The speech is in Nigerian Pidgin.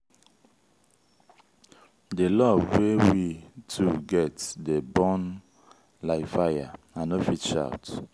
di love wey we two get dey burn like fire i no fit shout.